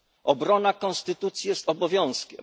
Obrona konstytucji jest obowiązkiem.